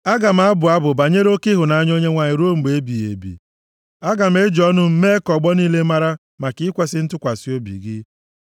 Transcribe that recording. Aga m abụ abụ banyere oke ịhụnanya Onyenwe anyị ruo mgbe ebighị ebi; aga m eji ọnụ m mee ka ọgbọ niile mara maka ikwesi ntụkwasị obi gị.